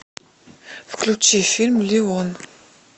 включи фильм леон